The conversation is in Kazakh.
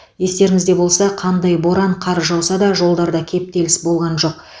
естеріңізде болса қандай боран қар жауса да жолдарда кептеліс болған жоқ